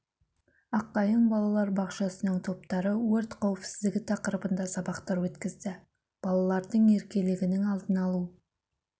аққайың балалар бақшасының топтары өрт қауіпсіздігі тақырыбында сабақтар өткізді балалардың еркелігінің алдын алу